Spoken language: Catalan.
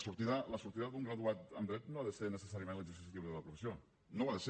escolti la sortida d’un graduat en dret no ha de ser necessàriament l’exercici lliure de la professió no ho ha de ser